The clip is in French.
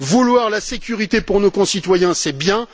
Vouloir la sécurité pour nos concitoyens, c'est bien